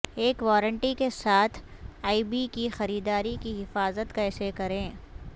ایک وارنٹی کے ساتھ ای بے کی خریداری کی حفاظت کیسے کریں